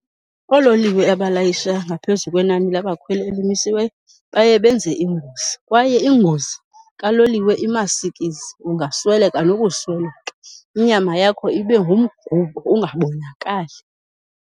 Oololiwe abalayisha ngaphezu kwenani labakhweli elimisiweyo baye benze ingozi kwaye ingozi kaloliwe imasikizi ungasweleka nokusweleka, inyama yakho ibe ngumgubo ungabonakali.